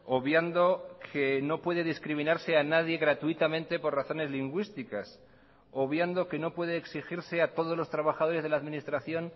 obviando que no puede discriminarse a nadie gratuitamente por razones lingüísticas obviando que no puede exigirse a todos los trabajadores de la administración